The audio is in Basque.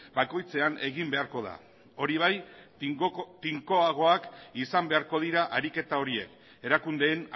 bakoitzean egin beharko da hori bai tinkoagoak izan beharko dira ariketa horiek erakundeen